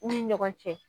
U ni ɲɔgɔn cɛ